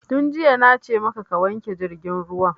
Tun jiya na ce maka ka wanke jirgin ruwan!